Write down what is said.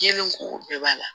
Kelen ko o bɛɛ b'a la